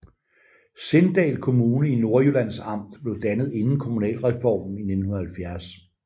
Sindal Kommune i Nordjyllands Amt blev dannet inden kommunalreformen i 1970